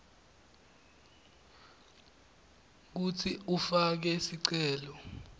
kutsi ufake sicelo